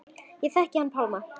Ég þekkti hann Pálma.